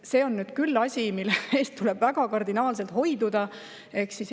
See on nüüd küll asi, millest tuleb kardinaalselt hoiduda.